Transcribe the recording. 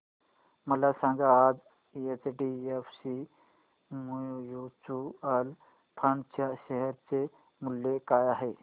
मला सांगा आज एचडीएफसी म्यूचुअल फंड च्या शेअर चे मूल्य काय आहे